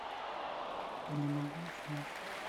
не могу уснуть